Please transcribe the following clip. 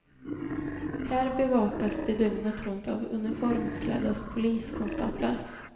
Här bevakas de dygnet runt av uniformsklädda poliskonstaplar.